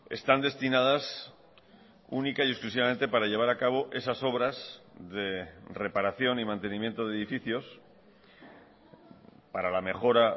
están destinadas única y exclusivamente para llevar a cabo esas obras de reparación y mantenimiento de edificios para la mejora